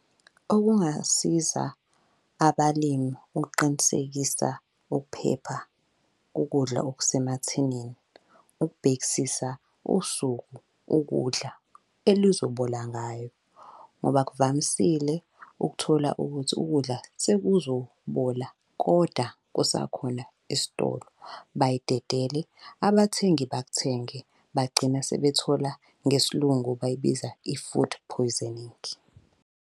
Okungasiza abalimu ukuqinisekisa ukuphepha kokudla okusemathinini, ukubhekisisa usuku ukudla elizobola ngayo ngoba kuvamisile ukuthola ukuthi ukudla sekuzobola koda kusakhona esitolo. Bayidedele, abathengi bakuthenge, bagcina sebethola, ngesiLungu bayibiza i-food poisoning.